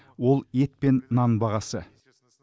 ол ет пен нан бағасы